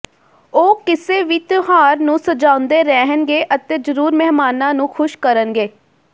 ਉਹ ਕਿਸੇ ਵੀ ਤਿਉਹਾਰ ਨੂੰ ਸਜਾਉਂਦੇ ਰਹਿਣਗੇ ਅਤੇ ਜ਼ਰੂਰ ਮਹਿਮਾਨਾਂ ਨੂੰ ਖੁਸ਼ ਕਰਨਗੇ